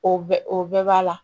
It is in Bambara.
O bɛ o bɛɛ b'a la